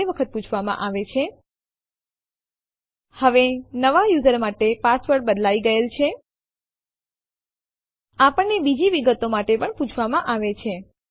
અન્ય ઉદાહરણ જેમાં આપણે ડેસ્ટીનેશન ફાઈલ નામ આપવાની જરૂર નથી જ્યારે આપણે ઘણી ફાઈલોની કોપી કરવા ઈચ્છતા હોઈએ